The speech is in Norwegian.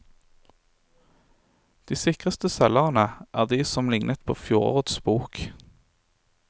De sikreste selgerne er de som lignet på fjorårets bok.